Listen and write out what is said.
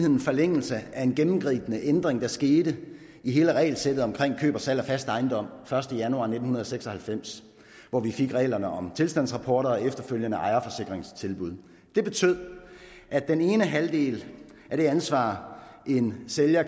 en forlængelse af en gennemgribende ændring der skete i hele regelsættet omkring køb og salg af fast ejendom første januar nitten seks og halvfems hvor vi fik reglerne om tilstandsrapporter og efterfølgende ejerforsikringstilbud det betød at den ene halvdel af det ansvar en sælger